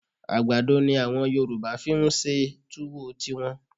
À̀gbàdo ni àwọn Yorùbá fi ń ṣe túwó tiwọn